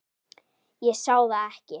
Ég sá það ekki.